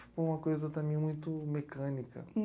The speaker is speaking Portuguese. Fica uma coisa também muito mecânica.